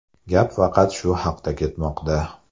Gap faqat shu haqda ketmoqda.